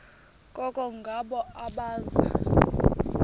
koko ngabo abaza